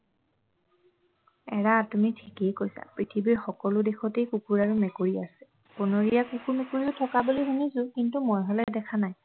এৰা তুমি ঠিকেই কৈছা পৃথিৱীৰ সকলো দেশতেই কুকুৰ আৰু মেকুৰী আছে বনৰীয়া কুকুৰ মেকুৰীও থকা বুলি শুনিছোঁ কিন্তু মই হলে দেখা নাই